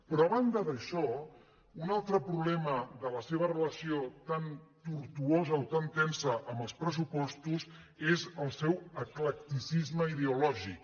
però a banda d’això un altre problema de la seva re·lació tan tortuosa o tan tensa amb els pressupostos és el seu eclecticisme ideològic